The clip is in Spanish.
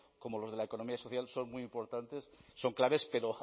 como los de la economía social son muy importantes son claves pero